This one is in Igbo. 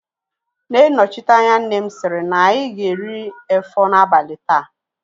Nne nnọchiteanya nne m sịrị na anyị ga-eri efọ n'abalị taa